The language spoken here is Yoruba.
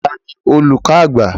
Ta ni olùkọ àgbà?